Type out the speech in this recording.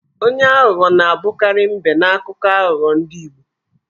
Onye aghụghọ na-abụkarị M̀bé n'akụkọ aghụgbọ ndị Igbo.